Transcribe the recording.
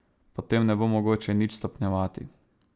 Potem ne bo mogoče nič stopnjevati.